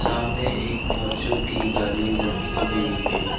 सामने एक बच्चों की गाड़ी रखी गई है।